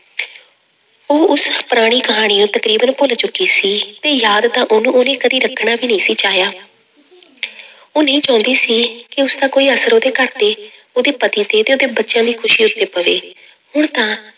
ਉਹ ਉਸ ਪੁਰਾਣੀ ਕਹਾਣੀ ਨੂੰ ਤਕਰੀਬਨ ਭੁੱਲ ਚੁੱਕੀ ਸੀ ਤੇ ਯਾਦ ਤਾਂ ਉਹਨੂੰ ਉਹਨੇ ਕਦੇ ਰੱਖਣਾ ਵੀ ਨਹੀਂ ਸੀ ਚਾਹਿਆ ਉਹ ਨਹੀਂ ਚਾਹੁੰਦੀ ਸੀ ਕਿ ਉਸਦਾ ਕੋਈ ਅਸਰ ਉਹਦੇ ਘਰ ਤੇ, ਉਹਦੇ ਪਤੀ ਤੇ ਤੇ ਉਹਦੇ ਬੱਚਿਆਂ ਦੀ ਖ਼ੁਸ਼ੀ ਉੱਤੇ ਪਵੇ ਹੁਣ ਤਾਂ